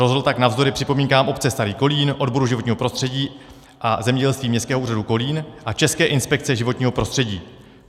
Rozhodl tak navzdory připomínkám obce Starý Kolín, odboru životního prostředí a zemědělství Městského úřadu Kolín a České inspekce životního prostředí.